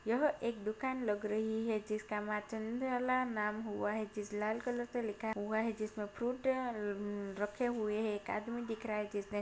यह एक दुकान लग रही है जिसका माँ चंचला नाम हुआ है जिस लाल कलर से लिखा हुआ है जिसमे फ्रूट अ रखे हुए है एक आदमी दिख रहा है जिसने--